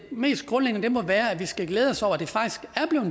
mest grundlæggende må være at vi skal glæde os over at det faktisk er